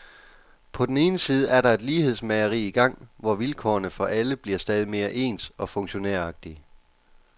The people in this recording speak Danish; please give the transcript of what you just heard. På den ene side er der et lighedsmageri i gang, hvor vilkårene for alle bliver stadig mere ens og funktionæragtige.